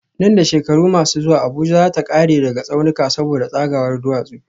Nan da shekaru masu zuwa Abuja za ta kare daga tsaunuka saboda tsagawar duwatsu